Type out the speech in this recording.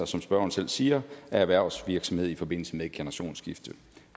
som spørgeren selv siger af erhvervsvirksomhed i forbindelse med et generationsskifte